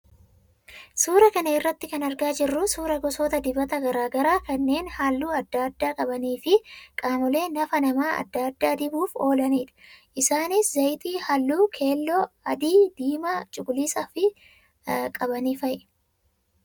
Suuraa kana irraa kan argaa jirru suuraa gosoota dibataa garaagaraa kanneen halluu adda addaa qabanii fi qaamolee nafa namaa adda addaa dibuuf oolanidha. Isaanis zayita halluu keelloo, adii, diimaa fi cuquliisa qaban fa'i.